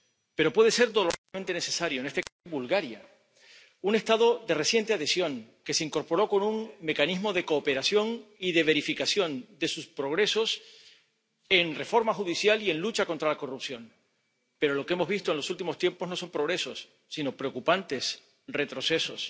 Pero puede ser dolorosamente necesario en este caso, Bulgaria, un Estado de reciente adhesión, que se incorporó con un mecanismo de cooperación y de verificación de sus progresos en reforma judicial y en lucha contra la corrupción, pero lo que hemos visto en los últimos tiempos no son progresos, sino preocupantes retrocesos.